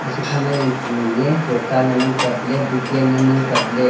shekha ma yanthai ningley choka ngan ang kapley bhutia ngan ang kapley.